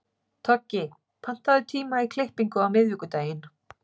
Toggi, pantaðu tíma í klippingu á miðvikudaginn.